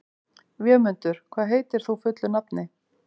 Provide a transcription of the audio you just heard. Vémundur, hvað heitir þú fullu nafni?